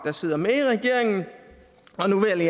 der sidder med i regeringen og nu vil